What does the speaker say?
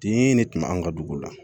Den ne tun bɛ anw ka dugu la